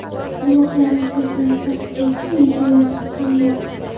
Guvohlarning so‘zlarini tasdiqlovchi videoyozuv ham bor.